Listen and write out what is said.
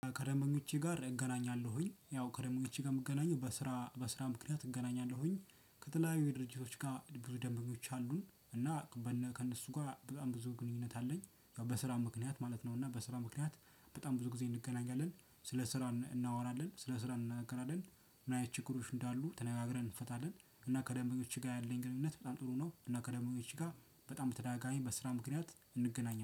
ከደበኞቼ ጋር እገናኛለሁኝ ያው ከደበኞቼ ጋር የምገናኘው በስራ በስራ ምክንያት እገናኛለሁኝ ከተለያዩ የድርጅቶች ጋር ብዙ ደንበኞች አሉን እና ከእነ ከእነሱ ጋር በጣም ብዙ ግንኙነት አለኝ ያው በስራ ምክንያት ማለት ነው። እና በስራ ምክንያት በጣም ብዙ ጊዜ እንገናኛለን ስለ ስራ እናወራለን ስለ ስራ እንነጋገራለን ምን አይነት ችግሮች እንዳሉ ተነጋግረን እንፈታለን እና ከደበኞች ጋር ያለኝ ግንኙነት በጣም ጥሩ ነው። እና ከደበኞች ጋር በጣም በተደጋጋሚ በስራ ምክንያት እንገናኛለን